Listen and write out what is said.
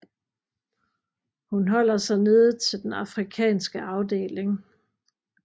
Hun holder sig nede til den Afrikanske afdeling